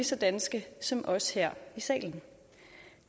så danske som os her i salen